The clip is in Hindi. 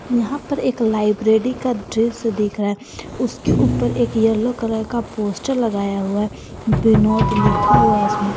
यहां पर एक लाइब्रेरी का दृश्य दिख रहा उसके ऊपर एक येलो कलर का पोस्टर लगाया हुआ है विनोद लिखा हुआ इसमें।